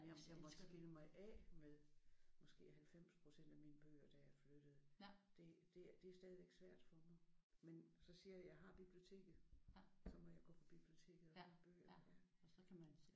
Jeg måtte skille mig af med måske 90% af mine bøger da jeg flyttede. Det det det er stadigvæk svært for mig. Men så siger jeg jeg har biblioteket. Så må jeg gå på biblioteket og låne bøger der